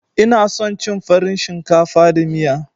Ina son cin farin shinkafa da miya.